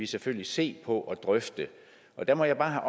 selvfølgelig se på og drøfte der må jeg bare